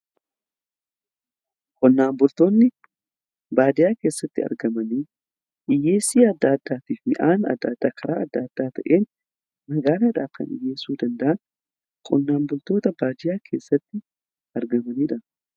qonnaan bultoonni baadiyaa keessatti argaman hiyyeessa adda addaa midhaan adda addaa karaa adda addaa ta'een magaalaadhaf kan dhiyeessuu danda'an qonnaan bultoota baadiyaa keessatti argamaniidha.